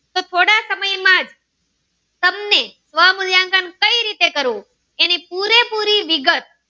સ્વમુલ્યાંકન કઈ રીતે કરવું એની પુરેપુરી વિગત